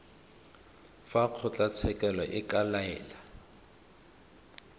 fa kgotlatshekelo e ka laela